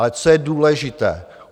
Ale co je důležité?